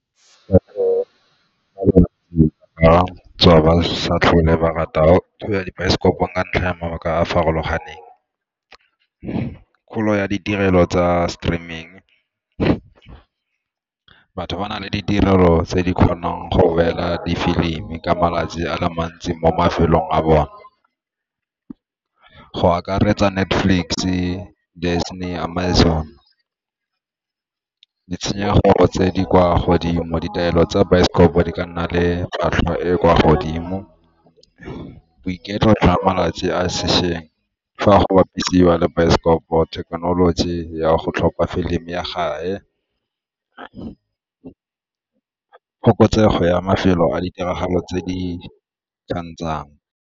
Ba tswa ba sa tlhole ba rata go ya dibaesekopong ka ntlha ya mabaka a a farologaneng. Kgolo ya ditirelo tsa streaming, batho ba na le ditirelo tse di kgonang go beela di filimi ka malatsi a le mantsi mo mafelong a bone go akaretsa Netflix-e, Disney, Amazon. Ditshenyegelo tse di kwa godimo, ditaelo tsa baesekopo di ka nna le tlhwatlhwa e e kwa godimo, boiketlo jwa malatsi a sešweng fa go bapisiwa le baesekopo, thekenoloji ya go tlhopha filimi ya , phokotsego ya mafelo a ditiragalo tse di .